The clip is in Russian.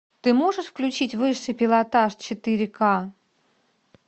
ты можешь включить высший пилотаж четыре ка